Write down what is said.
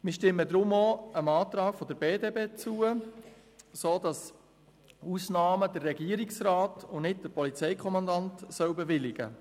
Wir stimmen deshalb dem Antrag der BDP zu, sodass der Regierungsrat und nicht der Polizeikommandant die Ausnahmen bewilligt.